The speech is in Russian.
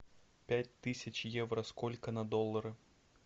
пять тысяч евро сколько на доллары